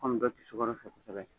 Anw bɛɛ tɛ sukaro fɛ kosɛbɛ